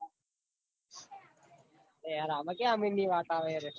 અરે યાર આમાં ક્યાં આમિર ની વાત આવે તો પાહિ યાર